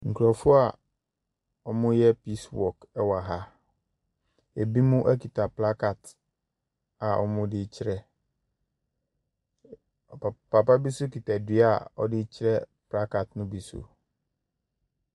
Nkorɔfoɔ a ɔmoo yɛ piis wɔk ɛwɔ ha. Ebimo ɛkita plakaads a ɔmo dee kyerɛ. Papa bi so kita dua a ɔde kyerɛ plakaad no bi so.